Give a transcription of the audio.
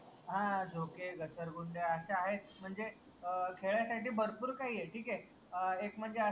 हां झोके, घसरगुंड्या अशे आहेत म्हनजे अं खेळायसाठी भरपूर काही आहे ठीक ए अं एक म्हनजे